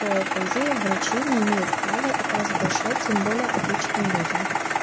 то по идее врачи не имеют права это разглашать тем более обычным людям